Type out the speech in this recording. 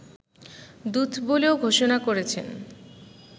দূত বলেও ঘোষণা করেছেন